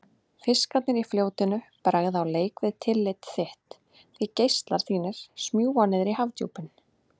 Fiskarnir í fljótinu bregða á leik við tillit þitt, því geislar þínir smjúga niðrí hafdjúpin.